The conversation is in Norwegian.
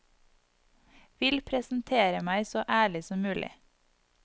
Vil presentere meg så ærlig som mulig.